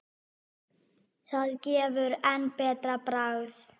Það gefur enn betra bragð.